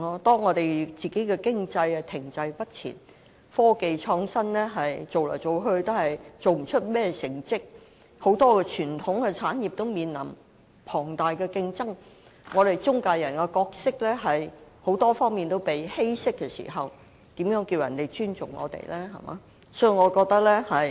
當我們的經濟停滯不前，科技創新做來做去也做不到甚麼成績，很多傳統產業都面臨龐大競爭，我們的中介人角色在很多方面都被稀釋時，如何叫人尊重我們？